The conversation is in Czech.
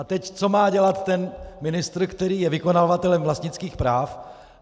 A teď co má dělat ten ministr, který je vykonavatelem vlastnických práv?